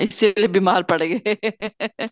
ਇਸੀ ਕੇ ਲੀਏ ਬੀਮਾਰ ਪੜ ਗਏ